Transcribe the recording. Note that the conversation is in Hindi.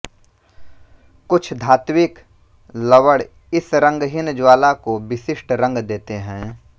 कुछ धात्विक लवण इस रंगहीन ज्वाला को विशिष्ट रंग देते हैं